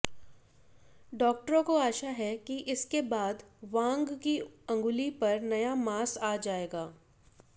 डाक्टरों को आशा है कि इसके बाद वांग की अंगुली पर नया मांस आ जाएगा